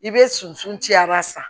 I bɛ susu ci a b'a san